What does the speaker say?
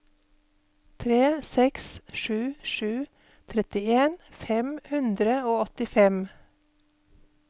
tre seks sju sju trettien fem hundre og åttifem